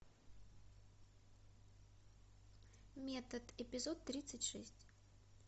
метод эпизод тридцать шесть